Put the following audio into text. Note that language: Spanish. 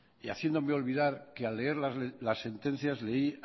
y haciéndome olvidar que al leer las sentencias leí